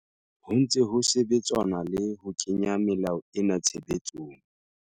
Ho ntse ho sebetsanwa le ho kenya melao ena tshebetsong.